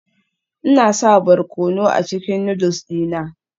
Ina sa barkono a cikin noodles dina